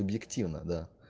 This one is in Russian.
объективно да